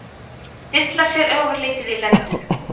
Dillar sér ofurlítið í lendunum.